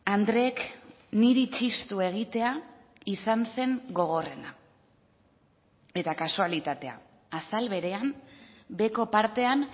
andreek niri txistu egitea izan zen gogorrena eta kasualitatea azal berean beheko partean